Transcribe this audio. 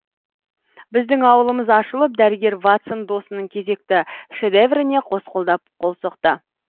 біздің аулымыз ашылып дәрігер ватсон досының кезекті шедевріне қос қолдап қол соқты